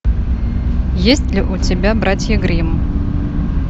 есть ли у тебя братья гримм